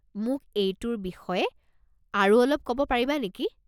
মোক এইটোৰ বিষয়ে আৰু অলপ ক'ব পাৰিবা নেকি?